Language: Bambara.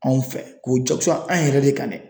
Anw fɛ k'o jakusa an yɛrɛ de kan dɛ.